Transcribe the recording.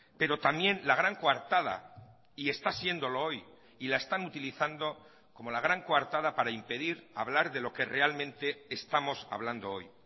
pero también la gran coartada y está siéndolo hoy y la están utilizando como la gran coartada para impedir hablar de lo que realmente estamos hablando hoy